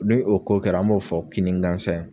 N'o ko kɛra an b'o fɔ kinni gansan ye